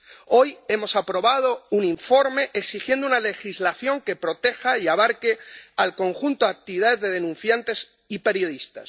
Hoy hemos aprobado un informe exigiendo una legislación que proteja y abarque el conjunto de actividades de denunciantes y periodistas.